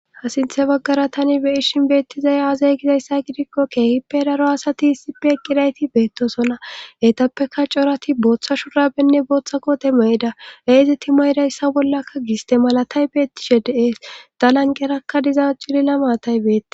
ha sinthe baggara tani be ishin beettizaya aazay gizayssa gidikko keehippe daro asati issipe eqqirayti beetto sona hetappeka corati booththa shurabenne booththa kote me7ida eezeti mayrayssa bollakka giste malatay beettishe de7ees dalanqerakka diza cilila maatay betti